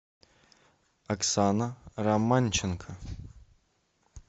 оксана романченко